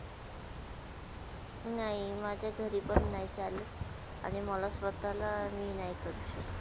नय, माझ्या घरी पण नय चालत. आणि मला स्वतःला मी नाही करू शकत